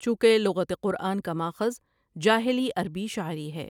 چونکہ لغت قرآن کا ماخذ جاہلی عربی شاعری ہے ۔